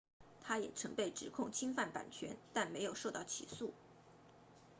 他也曾被指控侵犯版权但没有受到起诉